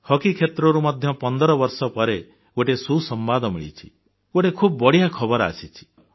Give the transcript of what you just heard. hockey କ୍ଷେତ୍ରରୁ ମଧ୍ୟ ପନ୍ଦର ବର୍ଷ ପରେ ଗୋଟିଏ ସୁସମ୍ବାଦ ମିଳିଛି ଗୋଟିଏ ଖୁବ୍ ବଢ଼ିଆ ଖବର ଆସିଛି